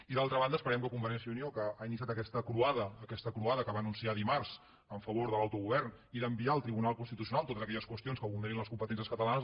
i d’altra banda esperem que convergència i unió que ha iniciat aquesta croada aquesta croada que va anunciar dimarts en favor de l’autogovern i d’enviar al tribunal constitucional totes aquelles qüestions que vulnerin les competències catalanes